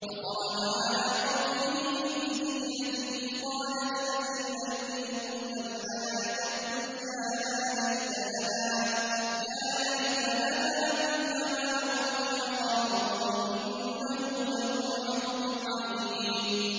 فَخَرَجَ عَلَىٰ قَوْمِهِ فِي زِينَتِهِ ۖ قَالَ الَّذِينَ يُرِيدُونَ الْحَيَاةَ الدُّنْيَا يَا لَيْتَ لَنَا مِثْلَ مَا أُوتِيَ قَارُونُ إِنَّهُ لَذُو حَظٍّ عَظِيمٍ